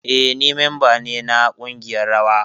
Eh, ni memba ne na kungiyar rawa.